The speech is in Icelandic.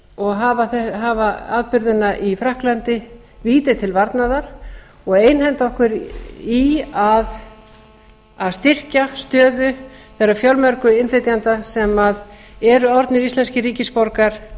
og hafa atburðina í frakklandi víti til varnaðar og einhenda okkur í að styrkja stöðu þeirra fjölmörgu innflytjenda sem eru orðnir íslenskir ríkisborgarar